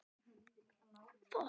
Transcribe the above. Sonur hennar? spyrja þeir.